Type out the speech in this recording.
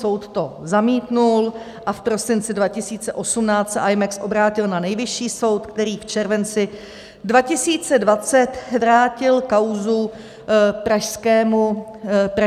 Soud to zamítl a v prosinci 2018 se Imex obrátil na Nejvyšší soud, který v červenci 2020 vrátil kauzu pražskému soudu.